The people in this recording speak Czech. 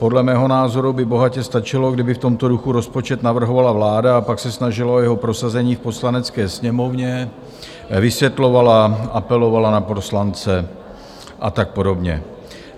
Podle mého názoru by bohatě stačilo, kdyby v tomto duchu rozpočet navrhovala vláda a pak se snažila o jeho prosazení v Poslanecké sněmovně, vysvětlovala, apelovala na poslance a tak podobně.